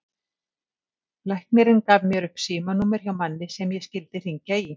Læknirinn gaf mér upp símanúmer hjá manni sem ég skyldi hringja í.